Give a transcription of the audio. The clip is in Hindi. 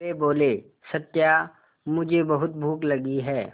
वे बोले सत्या मुझे बहुत भूख लगी है